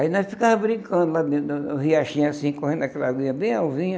Aí nós ficava brincando lá dentro, no riachinho, assim, correndo naquela aguinha bem alvinha.